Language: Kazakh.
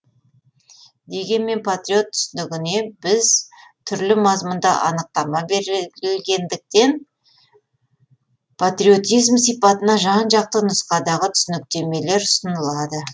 дегенмен патриот түсінігіне біз түрлі мазмұнда анықтамалар берілгендіктен патриотизм сипатына жан жақты нұсқадағы түсініктемелер ұсынылады